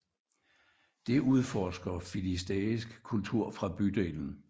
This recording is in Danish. Det udforsker filistæisk kultur fra bydelen